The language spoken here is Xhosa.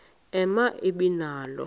ema ibe nalo